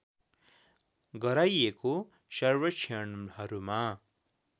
गराइएको सर्वेक्षणहरूमा